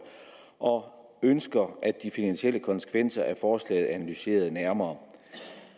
og ønsker de finansielle konsekvenser af forslaget analyseret nærmere